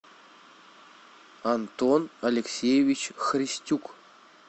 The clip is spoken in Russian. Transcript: антон алексеевич христюк